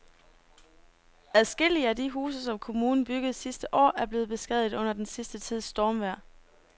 Adskillige af de huse, som kommunen byggede sidste år, er blevet beskadiget under den sidste tids stormvejr.